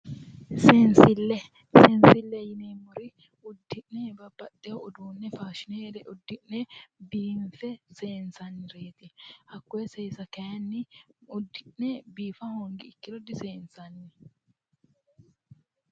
Seensille seensille yineemmori uddi'ne fashshineyre uddu'ne babbaxeewo uduunne faashshine uddi'ne seensannireti hakkoye seesa uddi'ne biifa hoongiro diseensanni